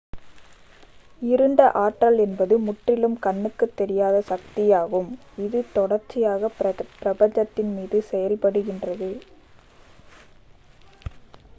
இருண்ட ஆற்றல் என்பது முற்றிலும் கண்ணுக்குத் தெரியாத சக்தியாகும் இது தொடர்ச்சியாகப் பிரபஞ்சத்தின் மீது செயல்படுகிறது